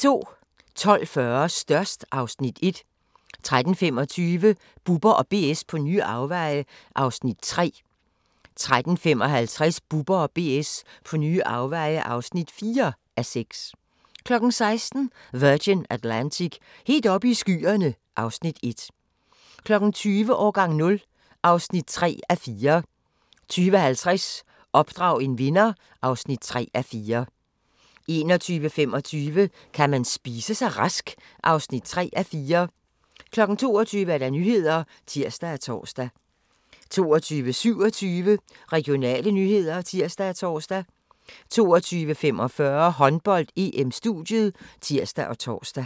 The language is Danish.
12:40: Størst (Afs. 1) 13:25: Bubber & BS på nye afveje (3:6) 13:55: Bubber & BS på nye afveje (4:6) 16:00: Virgin Atlantic - helt oppe i skyerne (Afs. 1) 20:00: Årgang 0 (3:4) 20:50: Opdrag en vinder (3:4) 21:25: Kan man spise sig rask? (3:4) 22:00: Nyhederne (tir og tor) 22:27: Regionale nyheder (tir og tor) 22:45: Håndbold: EM - studiet (tir og tor)